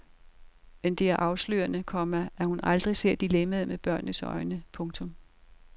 Men det er afslørende, komma at hun aldrig ser dilemmaet med børnenes øjne. punktum